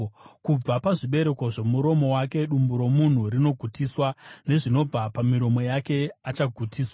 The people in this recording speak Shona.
Kubva pazvibereko zvomuromo wake dumbu romunhu rinogutiswa; nezvinobva pamiromo yake achagutiswa.